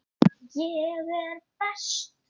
Ég er best.